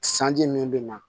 Sanji min bɛ na